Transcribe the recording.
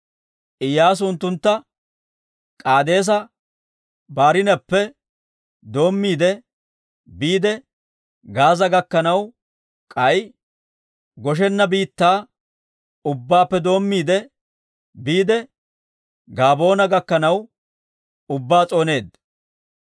Iyyaasu unttuntta K'aadeesa-Barnneppe doommiide biide Gaaza gakkanaw, k'ay Goshena biittaa ubbaappe doommiide biide Gabaa'oona gakkanaw ubbaa s'ooneedda.